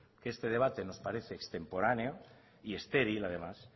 que este debate nos parece extemporáneo y estéril además